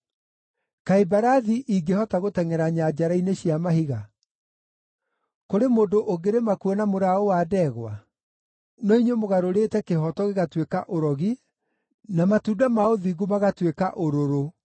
Kaĩ mbarathi ingĩhota gũtengʼera nyanjara-inĩ cia mahiga? Kũrĩ mũndũ ũngĩrĩma kuo na mũraũ wa ndegwa? No inyuĩ mũgarũrĩte kĩhooto gĩgatuĩka ũrogi, na matunda ma ũthingu magatuĩka ũrũrũ,